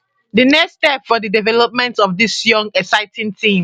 di next step for di development of dis young exciting team